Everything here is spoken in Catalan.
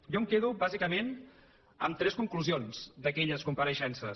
jo em quedo bàsicament amb tres conclusions d’aquelles compareixences